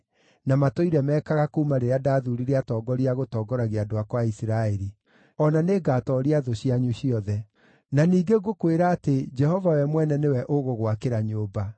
na matũire meekaga kuuma rĩrĩa ndathuurire atongoria a gũtongoragia andũ akwa a Isiraeli. O na nĩngatooria thũ cianyu ciothe. “ ‘Na ningĩ ngũkwĩra atĩ Jehova we mwene nĩwe ũgũgwakĩra nyũmba: